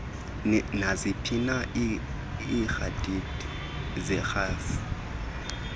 naziphina iikhredithi zerhafu